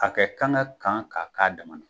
A kɛ kan ka kan k'a dama na.